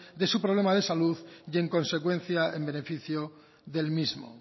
de su problema de salud y en consecuencia en beneficio del mismo